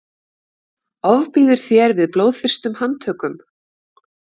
ofbýður þér við blóðþyrstum handtökum